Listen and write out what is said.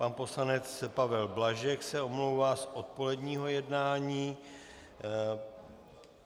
Pan poslanec Pavel Blažek se omlouvá z odpoledního jednání.